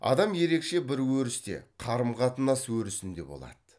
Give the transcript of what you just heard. адам ерекше бір өрісте қарым қатынас өрісінде болады